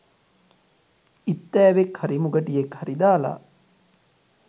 ඉත්තෑවෙක් හරි මුගටියෙක් හරි දාල